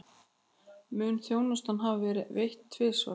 Mun þjónustan hafa verið veitt tvisvar